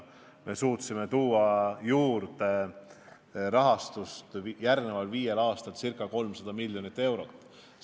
Me suutsime järgmiseks viieks aastaks ca 300 miljonit eurot juurde leida.